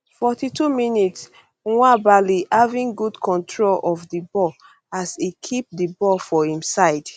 42mins nwabali having good control of di ball as e keep di ball for im side